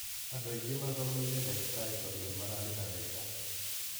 Andũ aingĩ mathomeire dagĩtarĩ tondũ nĩmararĩha wega.